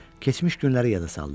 Keçmiş günləri yada saldı.